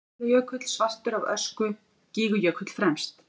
Eyjafjallajökull svartur af ösku, Gígjökull fremst.